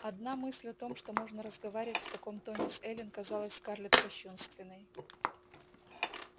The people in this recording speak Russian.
одна мысль о том что можно разговаривать в таком тоне с эллин казалась скарлетт кощунственной